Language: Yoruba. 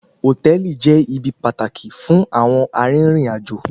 Hòtẹ́ẹ̀lì jẹ́ ibi pàtàkì fún àwọn arìnrìn-àjò.